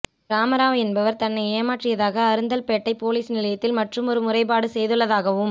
ராம ராவ் என்பவர் தன்னை ஏமாற்றியதாகக் அருந்தல்பேட்டை பொலிஸ் நிலையத்தில் மற்றுமொரு முறைப்பாடு செய்துள்ளதாகவும்